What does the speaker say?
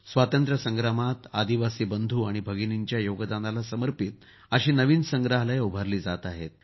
स्वातंत्र्य संग्रामात आदिवासी बंधु आणि भगिनींच्या योगदानाला समर्पित नवीन संग्रहालये उभारली जात आहेत